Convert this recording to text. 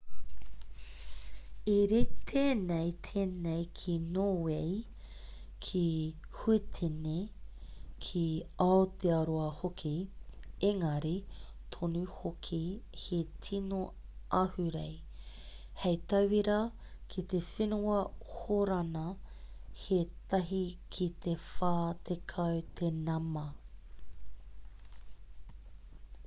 i rite nei tēnei ki nōwei ki huitene ki aotearoa hoki engari tonu hoki he tino ahurei hei tauira ki te whenua hōrana he tahi ki te whā tekau te nama